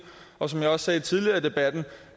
som jeg også sagde tidligere i debatten